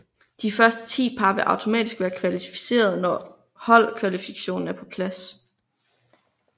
De 10 første par vil automatisk være kvalificeret når holdkvalifikationen er på plads